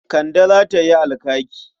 Kande za ta yi alkaki.